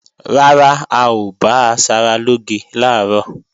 Rárá, a ò bá asaralóge làárọ̀